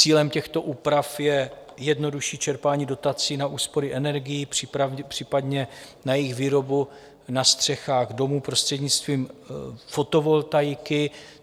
Cílem těchto úprav je jednodušší čerpání dotací na úspory energií, případně na jejich výrobu na střechách domů prostřednictvím fotovoltaiky.